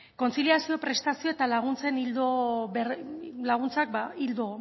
kontziliazioa prestazioak eta laguntzek ildo